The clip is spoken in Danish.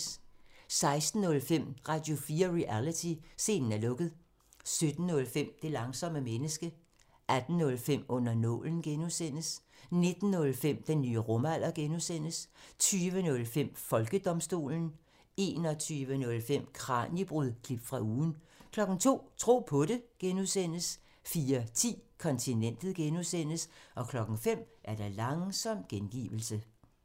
16:05: Radio4 Reality: Scenen er lukket 17:05: Det langsomme menneske 18:05: Under nålen (G) 19:05: Den nye rumalder (G) 20:05: Folkedomstolen 21:05: Kraniebrud – klip fra ugen 02:00: Tro på det (G) 04:10: Kontinentet (G) 05:00: Langsom gengivelse